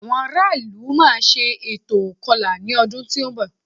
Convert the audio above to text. Àwọn ará ìlú máa ṣe ètò ìkọlà lọ́dún tó ń bọ̀